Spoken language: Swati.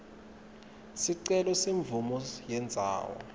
sicelo semvumo yendzawo